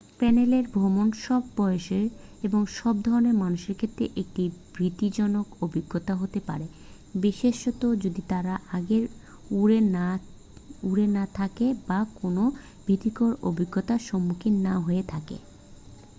প্লেনে ভ্রমণ সব বয়সের এবং সব ধরণের মানুষের ক্ষেত্রে একটি ভীতিজনক অভিজ্ঞতা হতে পারে বিশেষত যদি তারা আগে উড়ে না থাকেন বা কোনও ভীতিকর অভিজ্ঞতার সম্মুখীন না হয়ে থাকেন